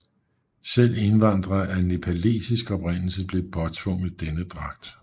Selv indvandrere af nepalesisk oprindelse blev påtvunget denne dragt